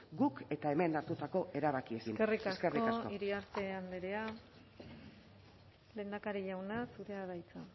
guk eta hemen hartutako erabakiekin eskerrik asko eskerrik asko iriarte andrea lehendakari jauna zurea da hitza